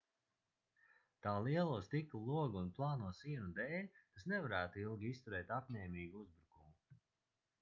tā lielo stikla logu un plāno sienu dēļ tas nevarētu ilgi izturēt apņēmīgu uzbrukumu